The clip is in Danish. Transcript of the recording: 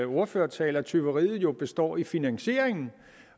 min ordførertale at tyveriet jo består i finansieringen